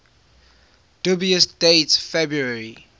dubious date february